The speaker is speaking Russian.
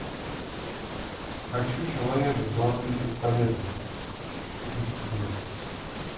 хочу человек с золотым пистолетом эйч ди